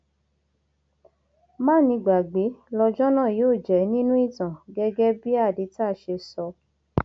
mánigbàgbé lọjọ náà yóò jẹ nínú ìtàn gẹgẹ bí hadīta ṣe sọ